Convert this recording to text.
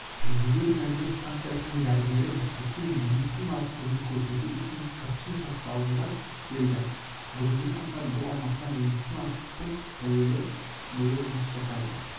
жедел жәрдем станциясының дәрігері бішкектен медициналық көмек көрсету үшін қырчын шатқалында келді бүгінгі таңда бұл аумақта медициналық пункт тәулік бойы жұмыс